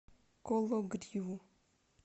кологриву